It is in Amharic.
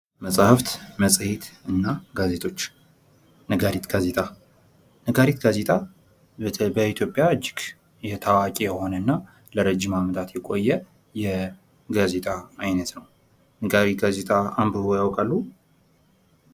መፅሀፍ ፣መፅዬትና ጋዜጦች ነጋሪት ጋዜጣ ነጋሪት ጋዜጣ በኢትዮጵያ እጅግ ታዋቂ የሆነና ለረጅም አመታት የቆዬ የጋዜጣ አይነት ነው። ነጋሪት ጋዜጣ አንብበው ያውቃሉ?